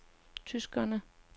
tyskerne